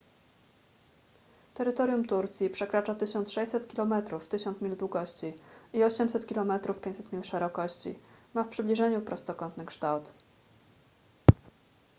terytorium turcji przekracza 1600 kilometrów 1000 mil długości i 800 kilometrów 500 mil szerokości ma w przybliżeniu prostokątny kształt